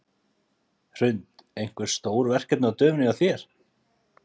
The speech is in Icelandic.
Hrund: Einhver fleiri stór verkefni á döfinni hjá þér?